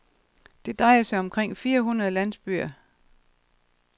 Det drejer sig om omkring fire hundrede landsbyer.